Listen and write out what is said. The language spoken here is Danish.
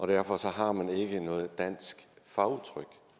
derfor har man ikke noget dansk fagudtryk